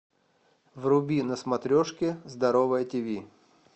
вруби на смотрешке здоровое тв